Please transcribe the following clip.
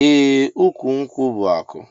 Eeh ukwu nkwu bu aku.